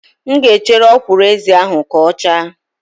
M ga-echere ọkwụrụ-ezi ahụ ka ọ chaa